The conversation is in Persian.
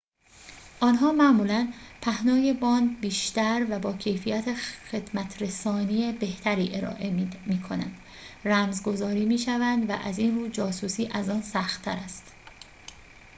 آنها معمولاً پهنای باند بیشتر و با کیفیت خدمت‌رسانی بهتری ارائه می‌کنند رمز گذاری می‌شوند و از این رو جاسوسی از آن سخت‌تر است